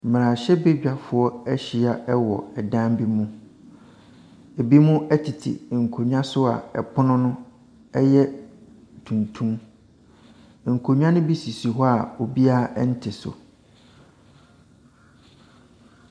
Mmerahyɛbedwafoɔ ɛhyia ɛwɔ dan bi mu. Ebinom ɛtete nkonwa so a ɛpono no ɛyɛ tuntum. Nkonwa no bi sisi hɔ a obiara nte so.